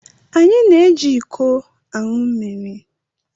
Anyị na-eji iko aṅụ mmiri